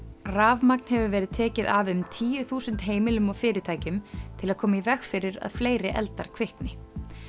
rafmagn hefur verið tekið af um tíu þúsund heimilum og fyrirtækjum til að koma í veg fyrir að fleiri eldar kvikni